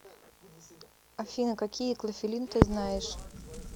афина какие клофелин ты знаешь